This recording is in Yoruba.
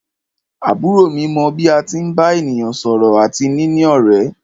Àbúrò mi mọ bí a tí ń bá ènìyàn sọ̀rọ̀ àti níní ọ̀rẹ́.